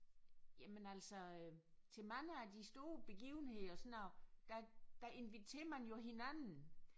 Jamen altså til mange af de store begivenheder sådan og der der inviterer man jo hinanden